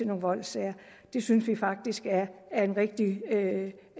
nogle voldssager det synes vi faktisk er en rigtig